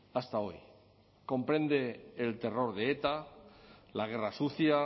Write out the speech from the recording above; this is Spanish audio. hasta hoy comprende el terror de eta la guerra sucia